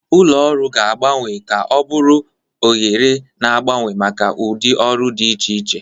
Ụlọ ọrụ ga-agbanwe ka ọ bụrụ oghere na-agbanwe maka ụdị ọrụ dị iche iche.